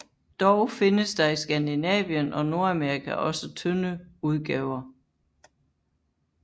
Dog findes der i Skandinavien og Nordamerika også tynde udgaver